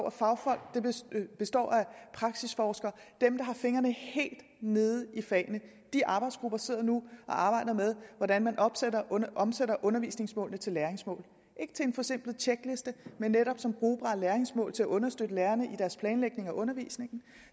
af fagfolk de består af praksisforskere dem der har fingrene helt nede i fagene de arbejdsgrupper sidder nu og arbejder med hvordan man omsætter undervisningsmålene til læringsmål ikke til en forsimplet tjekliste men netop som brugbare læringsmål til at understøtte lærerne i deres planlægning af undervisningen